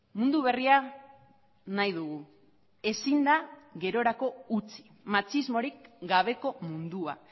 mundu berria nahi dugu ezin da gerorako utzi matxismorik gabeko mundua